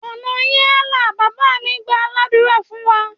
Ọ̀nà yín á là! Bàbá mí gbàá ládùrá fún wa.